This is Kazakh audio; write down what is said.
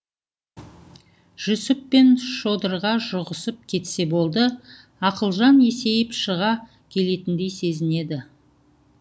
жүсіп пен шодырға жұғысып кетсе болды ақылжан есейіп шыға келетіндей сезінеді